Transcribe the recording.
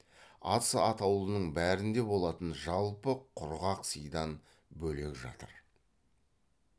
ас атаулының бәрінде болатын жалпы құрғақ сыйдан бөлек жатыр